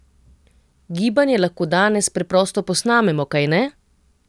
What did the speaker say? Gibanje lahko danes preprosto posnamemo, kajne?